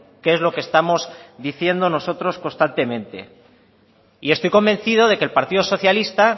que es lo que estamos diciendo nosotros constantemente y estoy convencido de que el partido socialista